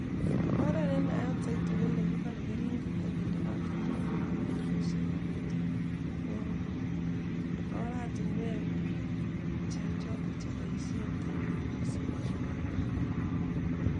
Oret nenaat saiti konekibolei keringet akinde katoldolik akinde kerichek aketub ko oret notok nenaat missing eng pik